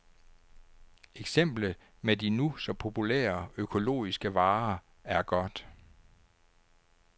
Eksemplet med de nu så populære økologiske varer er godt.